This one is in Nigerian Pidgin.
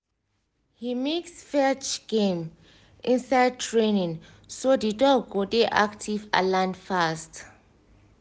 he mix fetch game inside training so the dog go dey active and learn fast